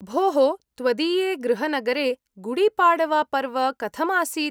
भोः त्वदीये गृहनगरे गुडीपाड़वापर्व कथम् आसीत्?